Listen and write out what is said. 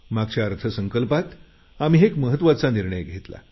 मागच्या अर्थसंकल्पात आम्ही एक महत्त्वाचा निर्णय घेतला